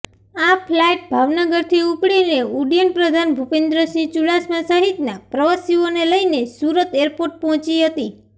આ ફ્લાઇટ ભાવનગરથી ઉપડીને ઉડ્ડયનપ્રધાન ભૂપેન્દ્રસિંહ ચૂડાસમા સહિતના પ્રવાસીઓને લઇને સૂરત એરપોર્ટ પહોંચી હતી